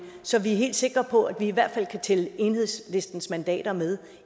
så vi er helt sikre på at vi i hvert fald kan tælle enhedslistens mandater med